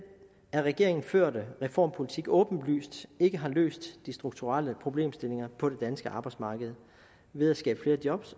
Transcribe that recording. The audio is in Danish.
af regeringen førte reformpolitik åbenlyst ikke har løst de strukturelle problemstillinger på det danske arbejdsmarked ved at skabe flere job